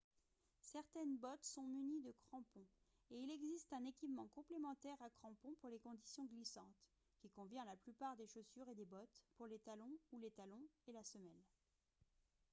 certaines bottes sont munies de crampons et il existe un équipement complémentaire à crampons pour les conditions glissantes qui convient à la plupart des chaussures et des bottes pour les talons ou les talons et la semelle